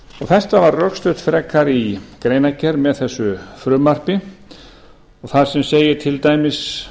þetta var rökstutt frekar í greinargerð með þessu frumvarpi þar sem segir til dæmis